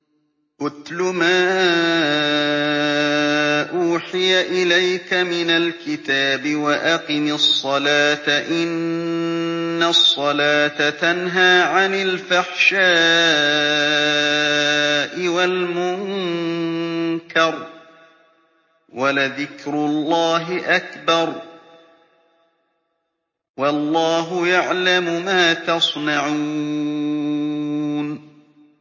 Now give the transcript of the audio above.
اتْلُ مَا أُوحِيَ إِلَيْكَ مِنَ الْكِتَابِ وَأَقِمِ الصَّلَاةَ ۖ إِنَّ الصَّلَاةَ تَنْهَىٰ عَنِ الْفَحْشَاءِ وَالْمُنكَرِ ۗ وَلَذِكْرُ اللَّهِ أَكْبَرُ ۗ وَاللَّهُ يَعْلَمُ مَا تَصْنَعُونَ